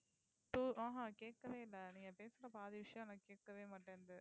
ஆஹா ஆஹ் கேட்கவே இல்லை நீங்க பேசற பாதி விஷயம் நான் கேட்கவே மாட்டேங்குது